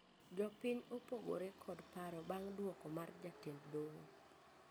Jopiny opogore kod paro bang duoko mar jatend doho